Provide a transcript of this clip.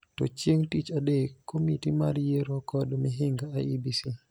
To chieng� tich adek, Komiti mar Yiero kod Mihinga (IEBC)